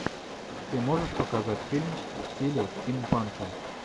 ты можешь показать фильм в стиле стим панка